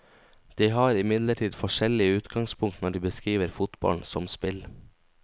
De har imidlertid forskjellig utgangspunkt når de beskriver fotballen som spill.